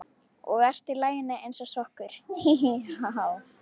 Og ert í laginu eins og sokkur, hí, hí, ha, há.